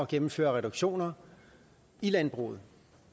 gennemføre reduktioner i landbruget